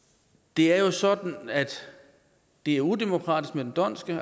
det er sådan at det er udemokratisk med den dhondtske